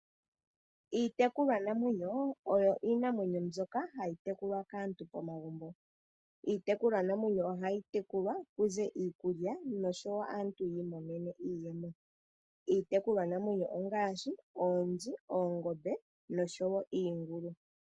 Iitekulwa namwenyo oyo iinamwenyo mbyoka hayi tekulwa kaantu momagumbo . Iitekulwanamwenyo oha yi tekulwa kuze iikulya noshowo aantu yi imonenemo iiyemo. Iitekulwanamwenyo ongaashi oonzi, oongombe noshowo iingulu.